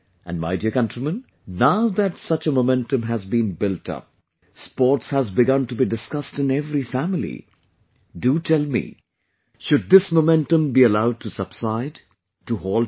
And my dear countrymen, now that such a momentum has been built up...Sports has begun to be discussed in every family...do tell me...should this momentum be allowed to subside, to halt now